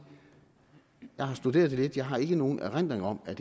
at jeg har studeret det lidt jeg har ikke nogen erindring om at